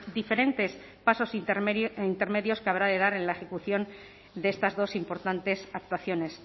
diferentes pasos intermedios que habrá de dar en la ejecución de estas dos importantes actuaciones